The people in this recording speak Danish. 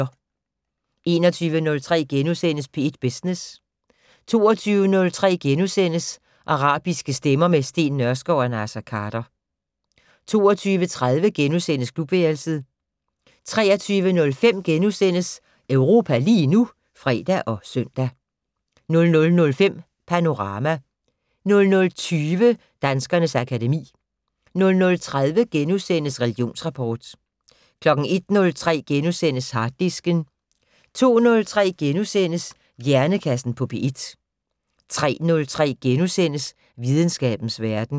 21:03: P1 Business * 22:03: Arabiske stemmer - med Steen Nørskov og Naser Khader * 22:30: Klubværelset * 23:05: Europa lige nu *(fre og søn) 00:05: Panorama 00:20: Danskernes akademi 00:30: Religionsrapport * 01:03: Harddisken * 02:03: Hjernekassen på P1 * 03:03: Videnskabens Verden *